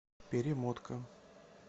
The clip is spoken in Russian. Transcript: перемотка